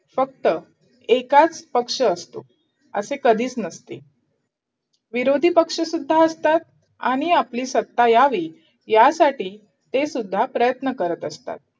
फक्त एकाच पक्ष असतो असे कधीच नसते विरोधी पक्ष सुद्धा असतात आणि आपली सत्ता यावी यासाठी ते सुद्धा प्रयन्त करत असता